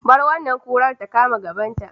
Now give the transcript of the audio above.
Bar wannan kurar ta kama gabanta.